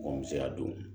Ko n bɛ se ka don